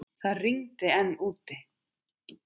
Það rigndi enn úti.